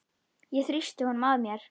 Ég þrýsti honum að mér.